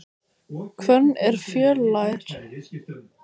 Hvönn er fjölær.